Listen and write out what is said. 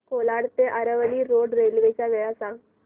कोलाड ते Aravali road railway च्या वेळा सांग